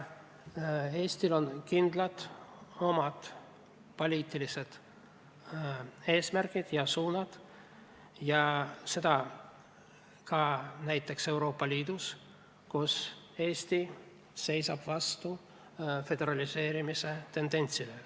Eestil on kindlad poliitilised eesmärgid ja suunad, ka Euroopa Liidus, kus Eesti seisab vastu föderaliseerimise tendentsile.